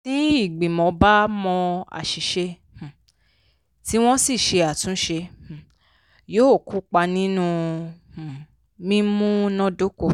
tí ìgbìmọ̀ bá mọ àṣìṣe um tí wọ́n sì ṣe àtúnṣe um yóò kópa nínú um mímúnádóko.